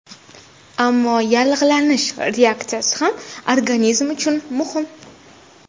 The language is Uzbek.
Ammo yallig‘lanish reaksiyasi ham organizm uchun muhim.